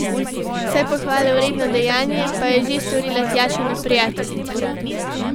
Vse pohvale vredno dejanje pa je že storila Tjašina prijateljica.